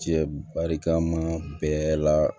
Cɛ barikama bɛɛ la